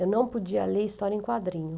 Eu não podia ler história em quadrinho.